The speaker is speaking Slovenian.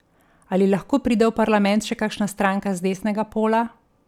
Ali lahko pride v parlament še kakšna stranka z desnega pola?